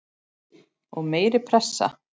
Og meiri pressa?